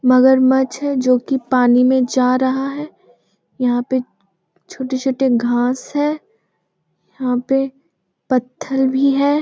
मगरमच्छ है जो की पानी में जा रहा है यहाँ पर छोटे-छोटे घास है यहाँ पर पत्थर भी है।